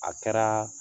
A kɛra